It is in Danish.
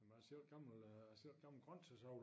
Men jeg selv gammel øh jeg selv gammel grøntsagsavler